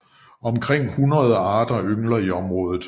Omkring hundrede arter yngler i området